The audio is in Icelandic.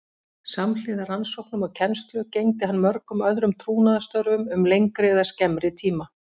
Samhliða rannsóknum og kennslu gegndi hann mörgum öðrum trúnaðarstörfum um lengri eða skemmri tíma.